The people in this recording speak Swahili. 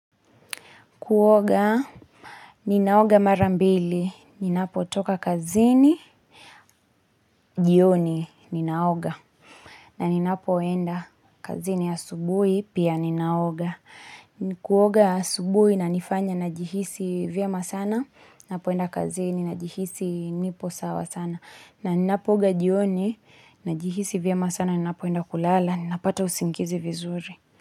Kuoga, ninaoga marambili, ninapo toka kazini, jioni, ninaoga. Na ninapoenda kazini asubuhi, pia ninaoga. Kuoga asubuhi, inanifanya na jihisi vyema sana, ninapoenda kazini, na jihisi nipo sawa sana. Na ninapooga jioni, nina jihisi vyemasana, ninapoenda kulala, ninapata usingizi vizuri.